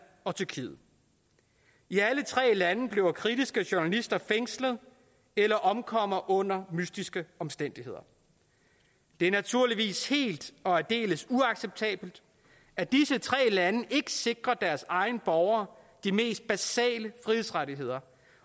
og tyrkiet i alle tre lande bliver kritiske journalister fængslet eller omkommer under mystiske omstændigheder det er naturligvis helt og aldeles uacceptabelt at disse tre lande ikke sikrer deres egne borgere de mest basale frihedsrettigheder